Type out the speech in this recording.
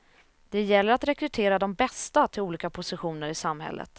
Det gäller att rekrytera de bästa till olika positioner i samhället.